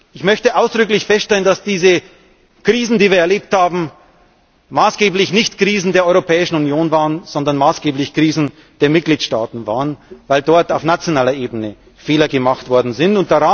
Ich möchte ausdrücklich feststellen, dass diese Krisen, die wir erlebt haben, maßgeblich nicht Krisen der Europäischen Union waren, sondern maßgeblich Krisen der Mitgliedstaaten, weil dort auf nationaler Ebene Fehler gemacht worden sind.